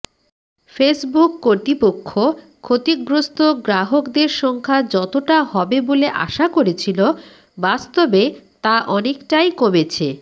Facebook কর্তৃপক্ষ ক্ষতিগ্রস্থ গ্রাহকদের সংখ্যা যতটা হবে বলে আশা করেছিল বাস্তবে তা অনেকটাই কমেছে